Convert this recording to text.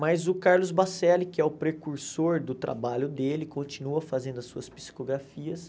Mas o Carlos Baccelli, que é o precursor do trabalho dele, continua fazendo as suas psicografias.